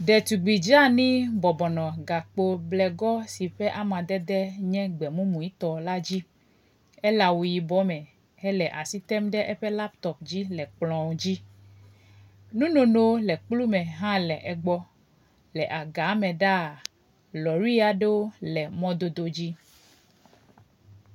Ɖetugbi dzani bɔbɔnɔ gakpo bleŋɔ si ƒe amadede nye gbemumue tɔ la dzi ele awu yibɔ me hele as item ɖe eƒe laptɔp dzi le kplɔ dzi. Nunono le kplu me hã le egbɔ, le agame ɖaa lɔɖi aɖewo le mɔdodo dzi.